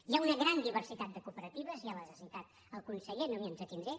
hi ha una gran diversitat de cooperatives ja les ha citades el conseller no m’hi entretindré